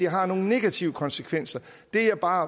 har nogle negative konsekvenser det jeg bare